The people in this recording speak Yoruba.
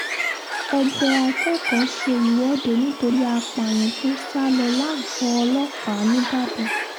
ẹgbẹ́ akẹ́kọ̀ọ́ ṣe ìwọ́de nítorí àpààyàn tó sá lọ lágọ̀ọ́ ọlọ́pàá ńìbàdàn